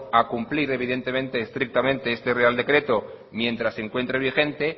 a cumplir evidentemente y estrictamente este real decreto mientras se encuentre vigente